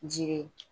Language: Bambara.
Jiri